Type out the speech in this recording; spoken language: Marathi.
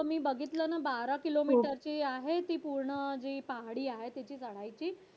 हो मी बघितलं ना बारा किलोमीटर जी आहे ती पूर्ण पाखाडी आहे ती चढायची